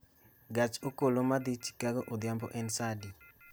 gach okoloma dhi chicago odhiambo en saa adi